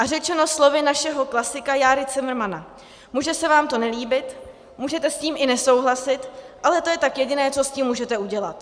A řečeno slovy našeho klasika Járy Cimrmana: Může se vám to nelíbit, můžete s tím i nesouhlasit, ale to je tak jediné, co s tím můžete udělat.